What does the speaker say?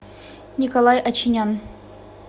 николай очинян